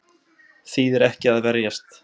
Þýðir ekki að verjast